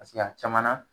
a caman na